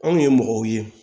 Anw ye mɔgɔw ye